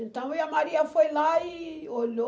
Então, e a Maria foi lá e olhou...